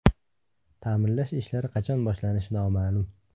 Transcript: Ta’mirlash ishlari qachon boshlanishi noma’lum.